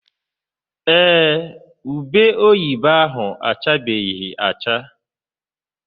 Ee, ube oyibo ahụ achabeghị acha.